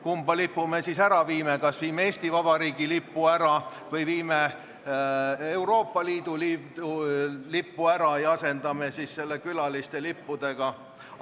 Kumma lipu me siis ära viime: kas viime Eesti Vabariigi lipu ära või viime Euroopa Liidu lipu ära ja asendame selle külaliste lippudega?